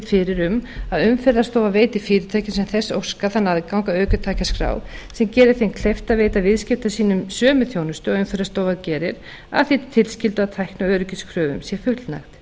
fyrir um að umferðarstofa veiti fyrirtækjum sem þess óska þann aðgang að ökutækjaskrá sem geri þeim kleift að veita viðskiptavinum sínum sömu þjónustu og umferðarstofa gerir að því tilskildu að tækni og öryggiskröfum sé fullnægt